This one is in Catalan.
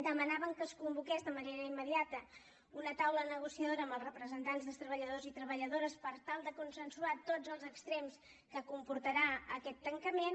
demanàvem que es convoqués de manera immediata una taula negociadora amb els representants dels treballadors i treballadores per tal de consensuar tots els extrems que comportarà aquest tancament